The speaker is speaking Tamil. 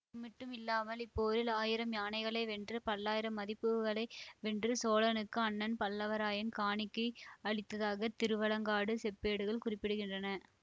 அது மட்டுமில்லாமல் இப்போரில் ஆயிரம் யானைகளை வென்று பல்லாயிரம் மதிப்புள்ளவைகளை வென்று சோழனுக்கு அண்ணன் பல்லவராயன் காணிக்கை அளித்ததாக திருவாலங்காடுச் செப்பேடுகள் குறிப்பிடுகின்றன